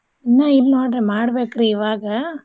ಇನ್ನ ಇಲ್ ನೋಡ್ರಿ ಮಾಡ್ಬೇಕ್ರೀ ಇವಾಗ.